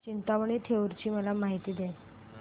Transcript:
चिंतामणी थेऊर ची मला माहिती दे